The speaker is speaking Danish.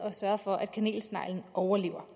sørge for at kanelsneglen overlever